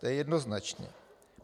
To je jednoznačně.